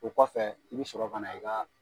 O kɔfɛ i bɛ sɔrɔ ka na i ka